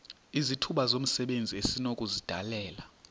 izithuba zomsebenzi esinokuzidalela